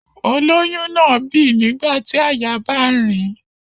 Olóyún náà bì nígbà tí àyà bá ń rìn ín